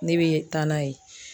Ne bɛ taa n'a ye.